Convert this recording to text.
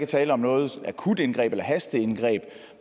tale om noget akutindgreb eller hasteindgreb